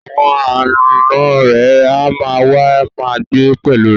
Àwọn ànọ́ rẹ̀ á ma wá ma gbé pẹ̀lú rẹ̀